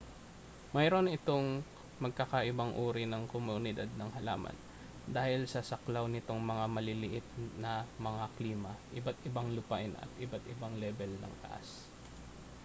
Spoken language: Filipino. mayroon itong magkakaibang uri ng komunidad ng halaman dahil sa saklaw nitong mga maliliit na mga klima iba't ibang lupain at iba-ibang lebel ng taas